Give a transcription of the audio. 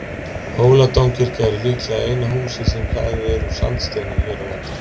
hóladómkirkja er líklega eina húsið sem hlaðið úr sandsteini hér á landi